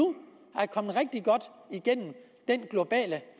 er kommet rigtig godt igennem den globale